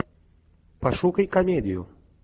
пошукай комедию